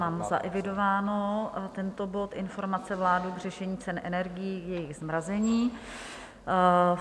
Mám zaevidován tento bod, Informace vlády k řešení cen energií, jejich zmrazení.